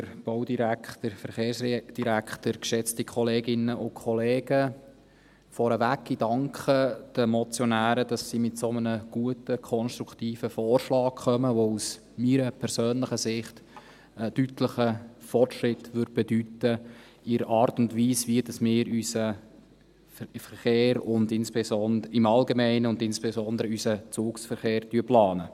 Vorneweg: Ich danke den Motionären, dass sie mit einem so guten und konstruktiven Vorschlag kommen, der aus meiner persönlichen Sicht einen deutlichen Fortschritt bedeuten würde in der Art und Weise, wie wir unseren Verkehr im Allgemeinen und insbesondere unseren Zugverkehr planen.